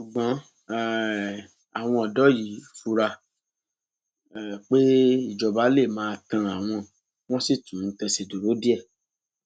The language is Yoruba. ṣùgbọn um àwọn ọdọ yìí fura um pé ìjọba lè máa tán àwọn wọn sì tún tẹsẹ dúró díẹ